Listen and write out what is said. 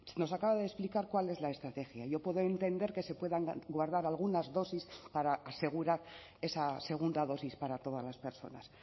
nos acaba de explicar cuál es la estrategia yo puedo entender que se puedan guardar algunas dosis para asegurar esa segunda dosis para todas las personas